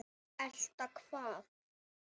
Elta hvað?